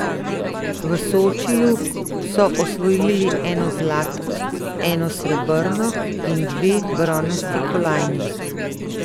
V Sočiju so osvojili eno zlato, eno srebrno in dve bronasti kolajni.